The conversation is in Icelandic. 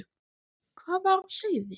Hvað var á seyði?